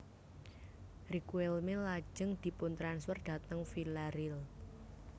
Riquelme lajeng diputransfer dhateng Villareal